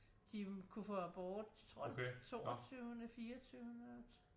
De jo kunne få abort tror det var toogtyvende fireogtyvende